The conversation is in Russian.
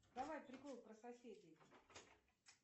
давай прикол про соседей